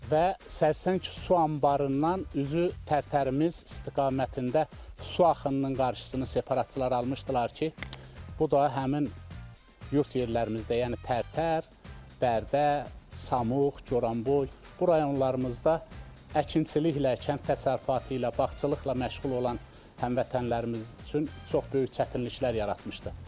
Və Sərsəng su anbarından üzü Tərtərimiz istiqamətində su axınının qarşısını separatçılar almışdılar ki, bu da həmin yurd yerlərimizdə, yəni Tərtər, Bərdə, Samux, Goranboy, bu rayonlarımızda əkinçiliklə, kənd təsərrüfatı ilə, bağçılıqla məşğul olan həmvətənlərimiz üçün çox böyük çətinliklər yaratmışdı.